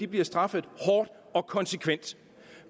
bliver straffet hårdt og konsekvent